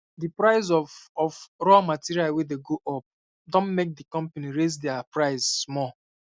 the price of of um raw material wey go up um don make the company raise um dia price small